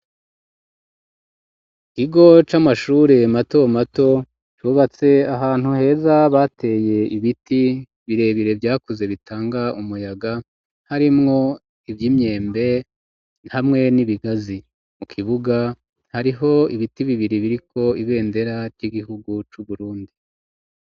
Ikigo c'amashure matomato cubatse ahantu heza bateye ibiti birebire vyakuze bitanga umuyaga, harimwo ivy'imyembe hamwe n'ibigazi. Mu kibuga hariho ibiti bibiri biriko ibendera ry'igihugu c'Uburundi.